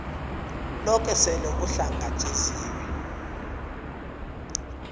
loke sele uhlangatjeziwe